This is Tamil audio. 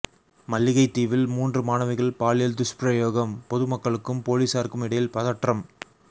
மல்லிகைத்தீவில் மூன்று மாணவிகன் பாலியல் துஷ்பிரயோகம் பொதுமக்களுக்கும் பொலிஸாருக்கும் இடையில் பதற்றம்